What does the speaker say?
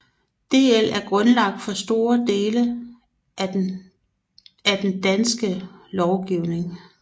DL er grundlaget for store dele af den danske lovgivning